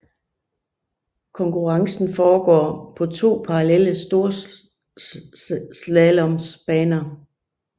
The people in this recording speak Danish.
Konkurrencen foregår på to parallelle storslaloms baner